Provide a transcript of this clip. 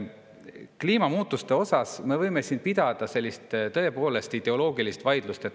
Kliimamuutuste teemal me võime siin pidada sellist tõepoolest ideoloogilist vaidlust.